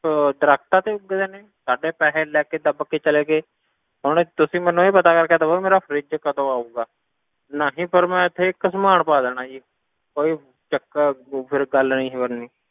ਅਹ ਦਰੱਖਤਾਂ ਤੇ ਉੱਗਦੇ ਨੇ, ਸਾਡੇ ਪੈਸੇ ਲੈ ਕੇ ਦੱਬ ਕੇ ਚਲੇ ਗਏ, ਹੁਣ ਤੁਸੀਂ ਮੈਨੂੰ ਇਹ ਪਤਾ ਕਰਕੇ ਦੇਵੋ ਮੇਰਾ fridge ਕਦੋਂ ਆਊਗਾ, ਨਹੀਂ ਫਿਰ ਮੈਂ ਇੱਥੇ ਹੀ ਘਸਮਾਣ ਪਾ ਦੇਣਾ ਜੀ, ਕੋਈ ਚੱਕਰ ਤੂੰ ਫਿਰ ਗੱਲ ਨੀ ਸੀ ਬਣਨੀ,